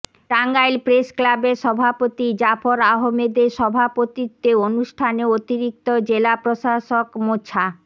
টাঙ্গাইল প্রেসক্লাবের সভাপতি জাফর আহমেদের সভাপতিত্বে অনুষ্ঠানে অতিরিক্ত জেলা প্রশাসক মোছা